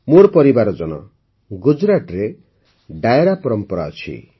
ମୋର ପରିବାର ଜନ ଗୁଜରାଟରେ ଡାୟରା ପରମ୍ପରା ଅଛି